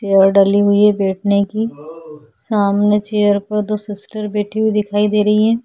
यहाँ डली हुई है बैठने की सामने चेयर पर दो सिस्टर बैठी हुई दिखाई दे रही है।